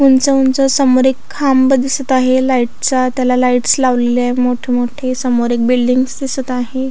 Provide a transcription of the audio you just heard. उंच उंच समोर एक खांब दिसत आहे लाईटचा त्याला लाईट्स लावलेले य मोठे मोठे समोर एक बिल्डिगस दिसत आहे.